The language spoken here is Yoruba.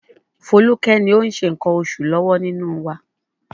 Foluke ni ó ń ṣe nǹkan oṣù lọ́wọ́ nínú wa.